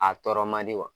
A tɔɔrɔ man di wa